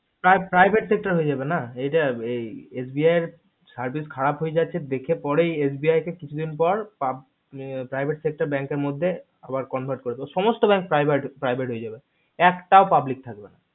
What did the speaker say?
private sector হয়ে যাবে না হয়ে যাবে না SBI এর service খারাব হয়ে যাচ্ছে দেখে পরে SBI কে কিছুদিন পর public private sector bank এর মধ্যে সমস্ত bank private হয়ে যাবে একটাও public থাকবে না